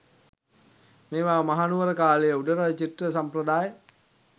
මේවා මහනුවර කාලයේ උඩරට චිත්‍ර සම්ප්‍රදාය